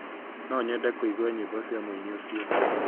No nyende kũigua nyĩmbo cia muini ucio